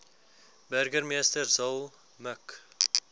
burgemeester zille mik